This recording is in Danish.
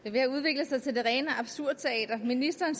er ved at udvikle sig til det rene absurdteater ministeren